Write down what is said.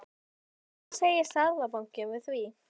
Hvað segir Seðlabankinn við því?